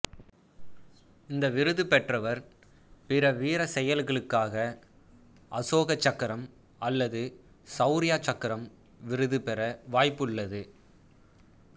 இந்த விருது பெற்றவர் பிற வீரச்செயல்களுக்காக அசோகச் சக்கரம் அல்லது சௌர்யா சக்கரம் விருது பெற வாய்ப்புள்ளது